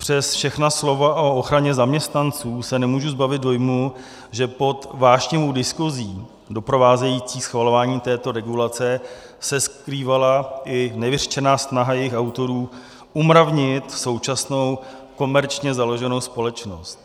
Přes všechna slova o ochraně zaměstnanců se nemůžu zbavit dojmu, že pod vášnivou diskuzí doprovázející schvalování této regulace, se skrývala i nevyřčená snaha jejích autorů umravnit současnou komerčně založenou společnost.